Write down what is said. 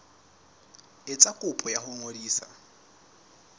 etsa kopo ya ho ngodisa